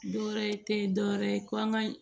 Dɔ wɛrɛ tɛ dɔwɛrɛ ye ko an ka